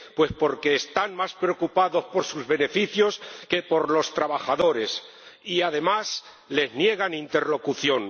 Pues porque están más preocupados por sus beneficios que por los trabajadores, y además les niegan interlocución.